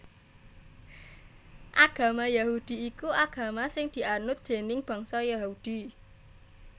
Agama Yahudi iku agama sing dianut déning bangsa Yahudi